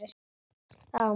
Það var margt.